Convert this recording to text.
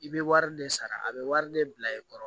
I bɛ wari de sara a bɛ wari de bila i kɔrɔ